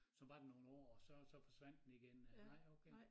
Som var der nogen år og så forsvandt den igen øh nej okay